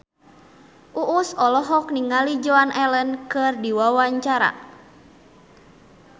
Uus olohok ningali Joan Allen keur diwawancara